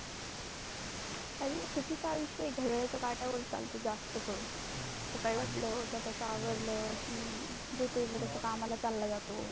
अरे सीटी आयुष्य ते घड्याळ्याच्या काट्यावर चालते जास्त करून, सकाळी उठल्या उठल्या सावरल की जो तो त्याच्या कामाला चालला जातो.